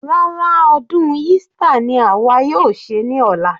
Rárá, ọdún Easter ni àwa yóò ṣe ní ọ̀la.